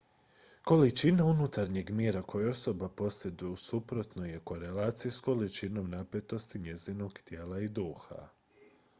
količina unutarnjeg mira koju osoba posjeduje u suprotnoj je korelaciji s količinom napetosti njezinog tijela i duha